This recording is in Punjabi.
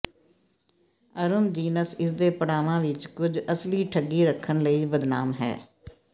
ਅਰੂਮ ਜੀਨਸ ਇਸਦੇ ਪੜਾਵਾਂ ਵਿੱਚ ਕੁਝ ਅਸਲੀ ਠੱਗੀ ਰੱਖਣ ਲਈ ਬਦਨਾਮ ਹੈ